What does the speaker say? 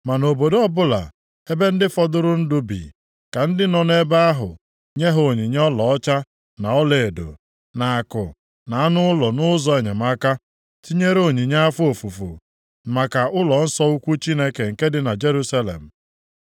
Ma nʼobodo ọbụla ebe ndị fọdụrụ ndụ bi, ka ndị nọ nʼebe ahụ nye ha onyinye ọlaọcha na ọlaedo, na akụ na anụ ụlọ nʼụzọ enyemaka, tinyere onyinye afọ ofufu maka ụlọnsọ ukwu Chineke nke dị na Jerusalem.’ ”